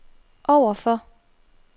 overfor